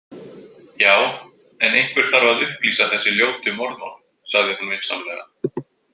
Já, en einhver þarf að upplýsa þessi ljótu morðmál, sagði hún vinsamlega.